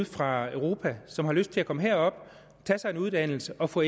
fra europa som har lyst til at komme herop tage sig en uddannelse og få